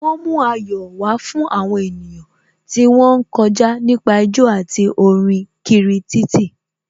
Wọ́n mú ayọ̀ wá fún àwọn ènìyàn tí wón ń kọjá nípa jó àti kọrin kiri títì.